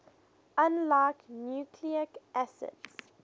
unlike nucleic acids